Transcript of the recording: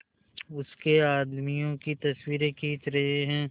उसके आदमियों की तस्वीरें खींच रहे हैं